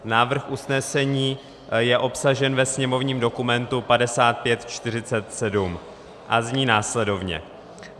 Návrh usnesení je obsažen ve sněmovním dokumentu 5547 a zní následovně: